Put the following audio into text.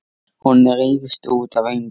Hún rífst út af engu.